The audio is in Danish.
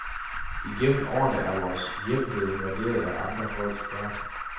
Igennem årene er vores hjem blevet invaderet af andre folks børn.